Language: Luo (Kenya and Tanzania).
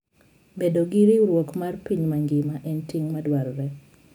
Bedo gi riwruok mar piny mangima en ting ' madwarore.